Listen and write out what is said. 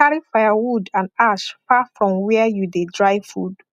carry firewood and ash far from where you dey dry food